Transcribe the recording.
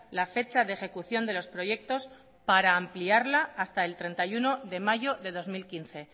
la fecha de ejecución de los proyectos para ampliarla hasta el treinta y uno de mayo de dos mil quince